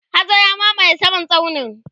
hazo ya mamaye saman tsaunin